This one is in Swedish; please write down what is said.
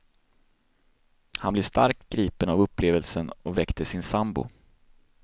Han blev starkt gripen av upplevelsen och väckte sin sambo.